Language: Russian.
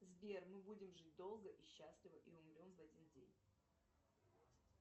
сбер мы будем жить долго и счастливо и умрем в один день